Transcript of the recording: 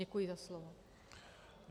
Děkuji za slovo.